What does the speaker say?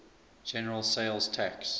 general sales tax